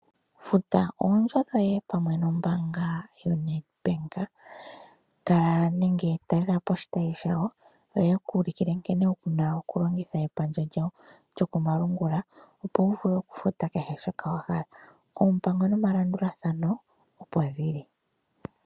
Futa oondjo dhoye pamwe nombaanga yoNedbank . Talelapo oshitayi shayo , yoye kuulukile nkene wuna okulongitha epandja lyawo lyokomalungula, opo wuvule okufuta kehe shoka wahala. Oompango nomalandulathano opo dhili.